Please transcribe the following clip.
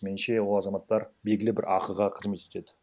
меніңше ол азаматтар белгілі бір ақыға қызмет етеді